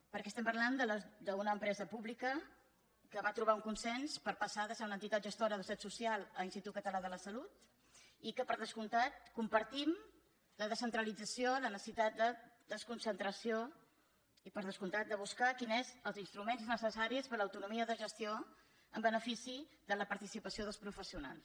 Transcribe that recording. perquè estem parlant d’una empresa pública que va trobar un consens per passar de ser una entitat gestora de la seguretat social a institut català de la salut i que per descomptat compartim la descentralització la necessitat de desconcentració i per descomptat de buscar quins són els instruments necessaris per a l’autonomia de gestió en benefici de la participació dels professionals